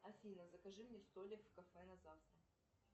афина закажи мне столик в кафе на завтра